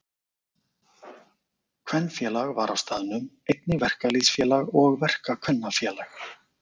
Kvenfélag var á staðnum, einnig verkalýðsfélag og verkakvennafélag.